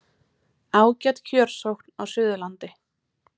Ágæt kjörsókn á Suðurlandi